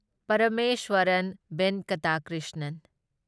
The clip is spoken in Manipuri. ꯄꯔꯃꯦꯁ꯭ꯋꯔꯟ ꯚꯦꯟꯀꯇ ꯀ꯭ꯔꯤꯁꯅꯟ